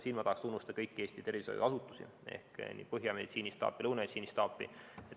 Siin ma tahan tunnustada kõiki Eesti tervishoiuasutusi, Põhja meditsiinistaapi ja Lõuna meditsiinistaapi.